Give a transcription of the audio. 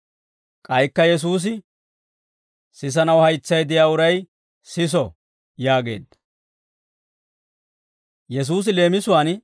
K'aykka Yesuusi, «Sisanaw haytsay de'iyaa uray siso» yaageedda.